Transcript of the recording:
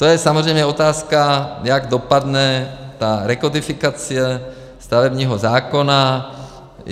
To je samozřejmě otázka, jak dopadne ta rekodifikace stavebního zákona.